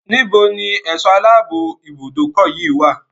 Níbo ni ẹ̀sọ́ aláàbò ibùdókọ̀ yíi wá?